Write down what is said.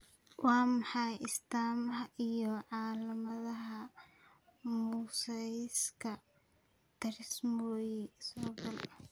Waa maxay astaamaha iyo calaamadaha mosaicka trisomy sagal?